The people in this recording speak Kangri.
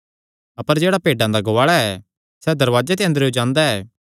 अपर जेह्ड़ा भेड्डां दा गुआल़ा ऐ सैह़ दरवाजे ते अंदरेयो जांदा ऐ